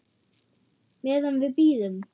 Meðan við bíðum.